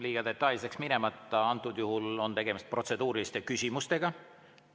Liiga detailseks minemata, antud juhul on tegemist protseduuriliste küsimustega.